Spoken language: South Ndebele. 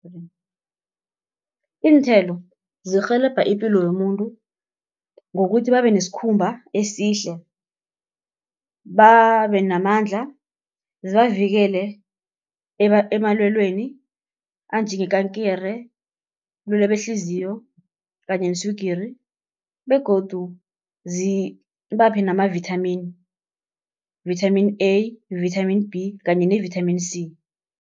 Iinthelo zirhelebha ipilo yomuntu ngokuthi babe nesikhumba esihle. Babe namandla zibavikele emalwelweni anjengekankere, ubulwele behliziyo kanye neswigiri, begodu zibaphe namavitamin, vitamin A, vitamin B, kanye ne-vitamin C.